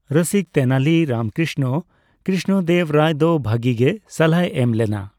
ᱨᱚᱥᱤᱠ ᱛᱮᱱᱟᱞᱤ ᱨᱟᱢᱠᱨᱤᱥᱱᱚ ᱠᱨᱤᱥᱱᱚᱫᱮᱵ ᱨᱟᱭ ᱫᱚ ᱵᱷᱟᱜᱤ ᱜᱮ ᱥᱟᱞᱦᱟᱭ ᱮᱢ ᱞᱮᱱᱟ ᱾